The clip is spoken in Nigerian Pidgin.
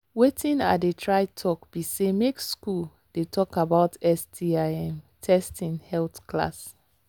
watin i they try talk be say make school they talk about sti um testing health class